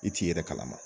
I t'i yɛrɛ kalama